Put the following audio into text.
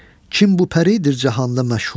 Kim bu pəridir cahanda məşhur,